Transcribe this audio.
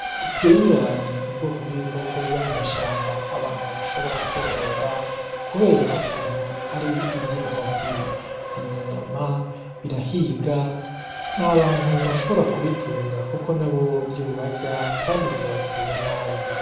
Iburane ibikoko abantu badashobora kworora kubera ukuntu ari ivyi nkazi birya inyama birahiga nta bantu bashobora kubitunga kuko nabo vyobarya kandi vyobagirira nabi.